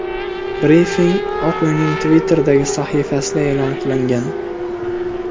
Brifing Oq uyning Twitter’dagi sahifasida e’lon qilingan .